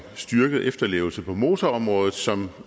styrket efterlevelse på motorområdet som